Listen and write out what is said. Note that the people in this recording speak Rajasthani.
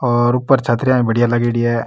और ऊपर छत्रिया भी बढ़िया लागेड़ी है।